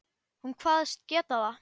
Hún kvaðst geta það.